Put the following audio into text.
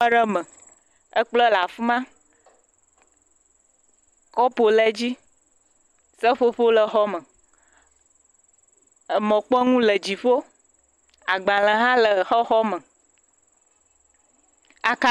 Xɔ aɖe me, kplɔ̃ le afi ma, kɔpu le edzi, seƒoƒo le xɔa me. Emɔkpɔnu le dziƒo, agbalẽ hã le xɔxɔ me. aka